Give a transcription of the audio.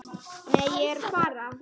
Nei, ég er að spara.